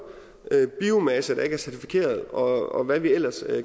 biomasse der ikke er certificeret og hvad vi ellers